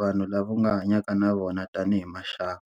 vanhu lava u nga hanyaka na vona tanihi maxaka.